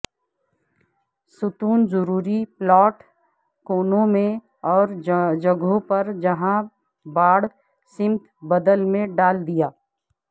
ستون ضروری پلاٹ کونوں میں اور جگہوں پر جہاں باڑ سمت بدل میں ڈال دیا